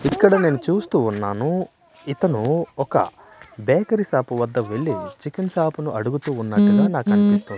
ఇక్కడ నేను చూస్తూ ఉన్నాను ఇతను ఒక బేకరీ షాప్ వద్ద వెళ్లి చికెన్ షాపును అడుగుతున్నట్టుగా నాకు అనిపిస్తుంది.